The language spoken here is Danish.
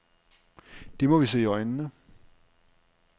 Det må vi se i øjnene.